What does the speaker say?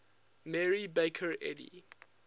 mary baker eddy